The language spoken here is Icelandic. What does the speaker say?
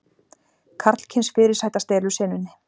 Karlkyns fyrirsæta stelur senunni